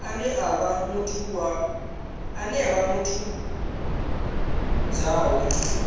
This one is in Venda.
ane a vha muthu zwawe